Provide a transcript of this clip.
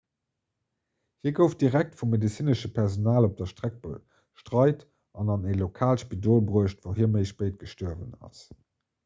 hie gouf direkt vum medezinesche personal op der streck betreit an an e lokaalt spidol bruecht wou hie méi spéit gestuerwen ass